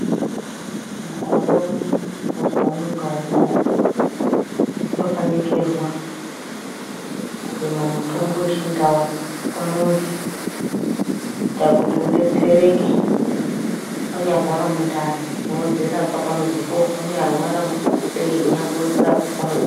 Mukore uno muzi umwe ngaumwe unofaninikirwa kurima mutombo wechindau pamuzi kuita kuti udetsereke wanyarwara mundani unodzirapa pamuzipo wanyarwara mudehenya unodzirapa pamuzipo.